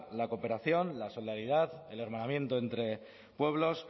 la cooperación la solidaridad el hermanamiento entre pueblos